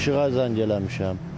İşıqa zəng eləmişəm.